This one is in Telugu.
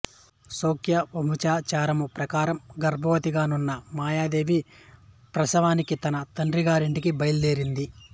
శాక్యవంశాచారము ప్రకారం గర్భవతిగానున్న మాయాదేవి ప్రసవానికి తన తండ్రిగారింటికి బయలుదేరింది